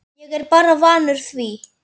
Ég er bara vanur því